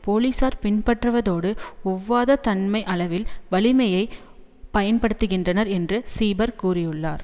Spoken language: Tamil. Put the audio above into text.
போலீசார் பின்பற்றுவதோடு ஒவ்வாத தன்மை அளவில் வலிமையை பயன்படுத்துகின்றர் என்று சீபர் கூறியுள்ளார்